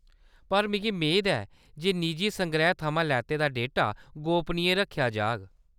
पर मिगी मेद ऐ जे निजी संग्रैह् थमां लैते दा डेटा गोपनीय रक्खेआ जाग ?